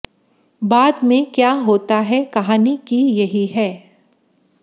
बाद में क्या होता है कहानी की यही है